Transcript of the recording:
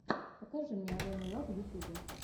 покажи мне алену лав в ютубе